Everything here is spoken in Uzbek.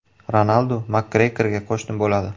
Ronaldu Makgregorga qo‘shni bo‘ladi.